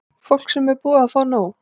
Fólk sem er búið að fá nóg.